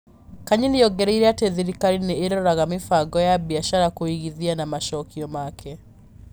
Kanyi nĩ ongereire atĩ thirikari nĩ ĩroraga mĩbango ya biacara, kũigithia na macokio make.